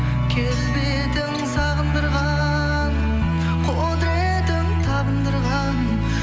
келбетің сағындырған құдыретің табындырған